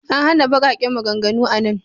An hana baƙaƙen maganganu a nan.